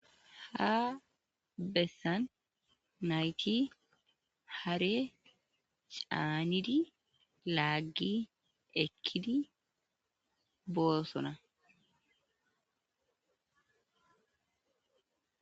ha bessan nayti hare caanidi laaggi ekkidi boossona.